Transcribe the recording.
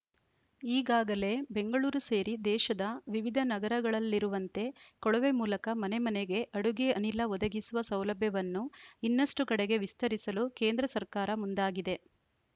ಈಗಾಗಲೇ ಬೆಂಗಳೂರು ಸೇರಿ ದೇಶದ ವಿವಿಧ ನಗರಗಳಲ್ಲಿರುವಂತೆ ಕೊಳವೆ ಮೂಲಕ ಮನೆಮನೆಗೆ ಅಡುಗೆ ಅನಿಲ ಒದಗಿಸುವ ಸೌಲಭ್ಯವನ್ನು ಇನ್ನಷ್ಟುಕಡೆಗೆ ವಿಸ್ತರಿಸಲು ಕೇಂದ್ರ ಸರ್ಕಾರ ಮುಂದಾಗಿದೆ